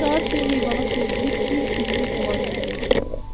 Az qalır ki, heyvana çevrilib bir-birinin boğazını üzəsən.